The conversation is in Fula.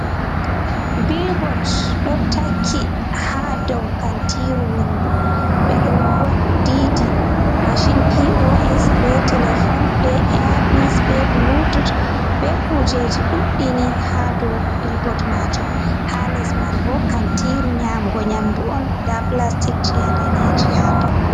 Bilbot ɗo takki ha dow kantiru wondu ɓe ɗo didi mashin pos be telefon be eyapis be bulutut be kujeji ɗuɗɗini ha dow bilbot majum ha les man bo kantiru nyamugo nyamdu on nda plastic chedanejum ha to.